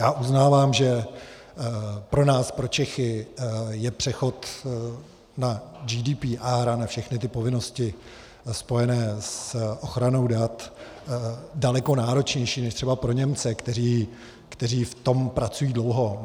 Já uznávám, že pro nás, pro Čechy, je přechod na GDPR a na všechny ty povinnosti spojené s ochranou dat daleko náročnější než třeba pro Němce, kteří v tom pracují dlouho.